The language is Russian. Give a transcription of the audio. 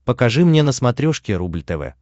покажи мне на смотрешке рубль тв